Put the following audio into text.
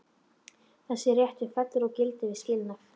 Þessi réttur fellur úr gildi við skilnað.